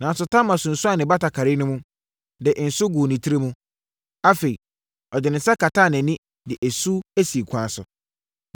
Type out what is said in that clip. Nanso, Tamar sunsuanee ne batakari no mu, de nsõ guu ne tiri mu. Afei, ɔde ne nsa kataa nʼani, de esu sii ɛkwan so.